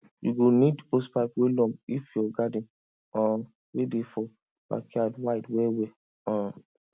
you go need hosepipe wey long if your garden um wey dey for backyard wide wellwell um